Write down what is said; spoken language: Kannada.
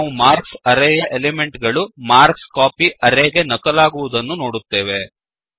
ನಾವು ಮಾರ್ಕ್ಸ್ ಅರೇಯ ಎಲಿಮೆಂಟ್ ಗಳು ಮಾರ್ಕ್ಸ್ಕೋಪಿ ಅರೇಗೆ ನಕಲಾಗಿರುವುದನ್ನು ನೋಡುತ್ತೇವೆ